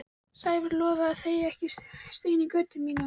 Sævar lofaði að leggja ekki stein í götu mína.